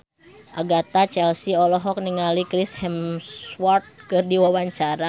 Agatha Chelsea olohok ningali Chris Hemsworth keur diwawancara